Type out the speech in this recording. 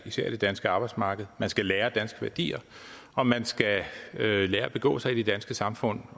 især i det danske arbejdsmarked man skal lære danske værdier og man skal lære at begå sig i det danske samfund